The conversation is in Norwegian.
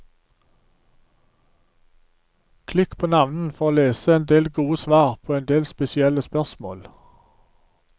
Klikk på navnene for å lese en del gode svar på en del spesielle spørsmål.